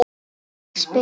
Ég spyr?